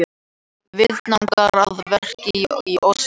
Viðvaningar að verki í Ósló